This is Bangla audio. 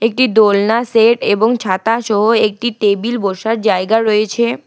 একটি দোলনা সেট এবং ছাতা সহ একটি টেবিল বসার জায়গা রয়েছে।